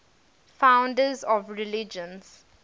founders of religions